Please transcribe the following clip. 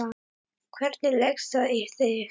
Hvernig leggst það í þig?